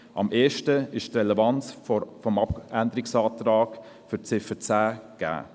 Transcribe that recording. Am ehesten ist die Relevanz des Abänderungsantrags zu Ziffer 10 gegeben.